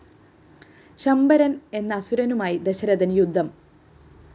ശംബരന്‍ എന്ന അസുരനുമായി ദശരഥന്‍ യുദ്ധം